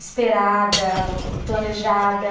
esperada, planejada.